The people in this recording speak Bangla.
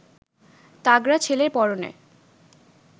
তাগড়া ছেলের পরনে